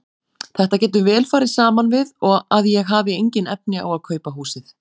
Þetta getur vel farið saman við að ég hafi engin efni á að kaupa húsið.